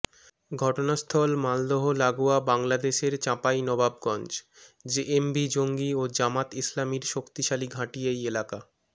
ঘটনাস্থল মালদহ লাগোয়া বাংলাদেশের চাঁপাইনবাবগঞ্জ জেএমবি জঙ্গি ও জামাত ইসলামির শক্তিশালী ঘাঁটি এই এলাকা